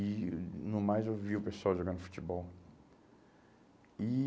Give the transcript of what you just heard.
E no mais eu vi o pessoal jogando futebol. E